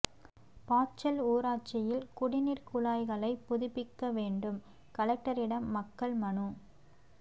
பாச்சல் ஊராட்சியில் குடிநீர் குழாய்களை புதுப்பிக்க வேண்டும் கலெக்டரிடம் மக்கள் மனு